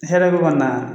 Hɛrɛ bɛ kɔni na